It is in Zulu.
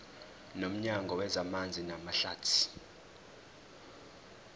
nomnyango wezamanzi namahlathi